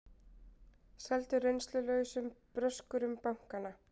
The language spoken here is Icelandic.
Seldu reynslulausum bröskurum bankana